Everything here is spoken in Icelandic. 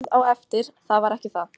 Sérð á eftir það var ekki það.